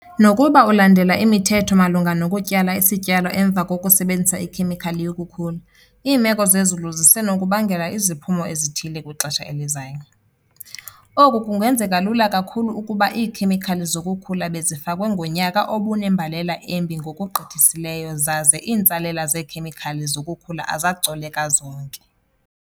Nokuba ulandela imithetho malunga nokutyala isityalo emva kokusebenzisa ikhemikhali yokukhula, iimeko zemozulu zisenokubangela iziphumo ezithile kwixesha elizayo. Oku kungenzeka lula kakhulu ukuba iikhemikhali zokukhula bezifakwe ngonyaka obunembalela embi ngokugqithisileyo zaze iintsalela zeekhemikhali zokukhula azacoleka zonke.